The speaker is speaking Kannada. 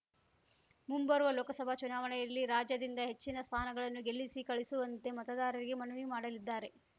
ಮುಂಬರುವ ಲೋಕಸಭಾ ಚುನಾವಣೆಯಲ್ಲಿ ರಾಜ್ಯದಿಂದ ಹೆಚ್ಚಿನ ಸ್ಥಾನಗಳನ್ನು ಗೆಲ್ಲಿಸಿ ಕಳುಹಿಸುವಂತೆ ಮತದಾರರಿಗೆ ಮನವಿ ಮಾಡಲಿದ್ದಾರೆ